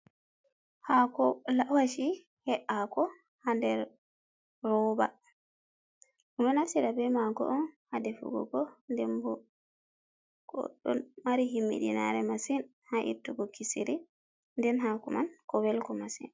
Hako lawasi he’ako ha nder roba. Odo nafsira be mako on ha defugoko, dembo ko do mari himmiɗinare masin ha ittugo kisiri. Nden hako man ko welko masin.